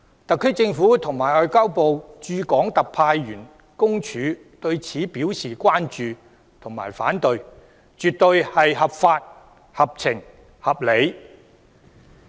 特區政府和中華人民共和國外交部駐香港特別行政區特派員公署對此表示關注和反對，絕對是合法、合情、合理。